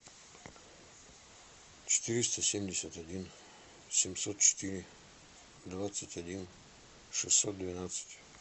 четыреста семьдесят один семьсот четыре двадцать один шестьсот двенадцать